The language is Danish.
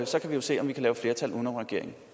så kan vi jo se om vi kan lave flertal uden om regeringen